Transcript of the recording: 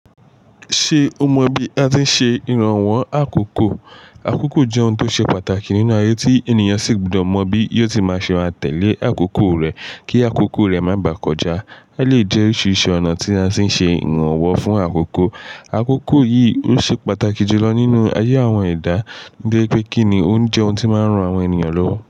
Ṣe o mọ bi a ti n ṣe iranwọ akoko? Akoko jẹ ohun tó ṣe pàtàkì nínú ayé tí ènìyàn sì gbọdọ mọ bí yóò ti máa ṣe maa tẹ́lẹ̀ akoko rẹ kí akoko rẹ má bà kọjá. Eleyii jẹ oríṣiríṣi ònà tí a ṣe n ṣe iranwọ fún akoko. Akoko yìí ó ṣe pàtàkì jùlọ nínú ayé àwọn ẹ̀dá nitori pé kí ni ó n jẹ́ ohun tí máa ń ran àwọn eniyan lọ́wọ́